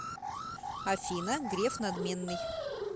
афина греф надменный